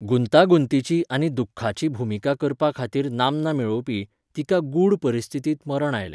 गुंतागुंतीची आनी दुख्खाची भुमिका करपा खातीर नामना मेळोवपी, तिका गूढ परिस्थितींत मरण आयलें.